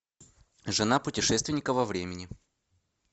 жена путешественника во времени